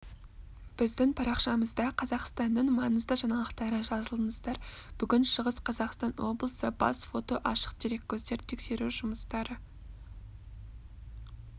біздің парақшамызда қазақстанның маңызды жаңалықтары жазылыңыздар бүгін шығыс қазақстан облысы бас фото ашық дереккөздерден тексеру жұмыстары